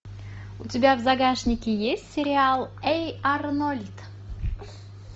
у тебя в загашнике есть сериал эй арнольд